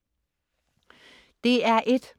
DR1: